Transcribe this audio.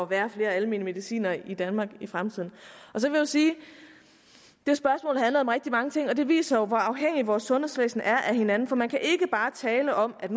være flere almene medicinere i danmark i fremtiden så vil jeg sige at om rigtig mange ting og det viser jo hvor afhængige vores sundhedsvæsen er af hinanden for man kan ikke bare tale om at